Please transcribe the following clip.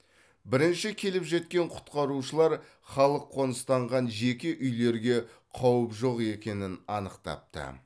бірінші келіп жеткен құтқарушылар халық қоныстанған жеке үйлерге қауіп жоқ екенін анықтапты